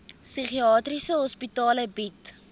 psigiatriese hospitale bied